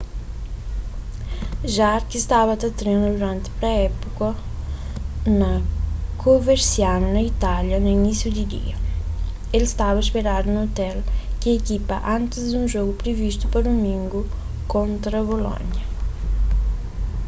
jarque staba ta trena duranti pré-épuka na coverciano na itália na inísiu di dia el staba ôspedadu na ôtel di ikipa antis di un jogu privistu pa dumingu kontra bolônia